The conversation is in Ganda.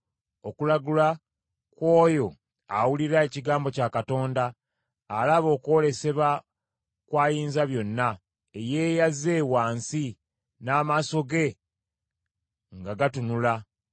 okulagula kw’oyo awulira ekigambo kya Katonda alaba okwolesebwa kw’Ayinzabyonna, eyeeyaze wansi, n’amaaso ge nga gatunula: